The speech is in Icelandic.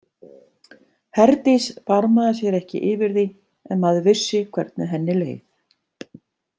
Herdís barmaði sér ekki yfir því en maður vissi hvernig henni leið.